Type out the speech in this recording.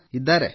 hello